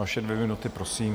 Vaše dvě minuty, prosím.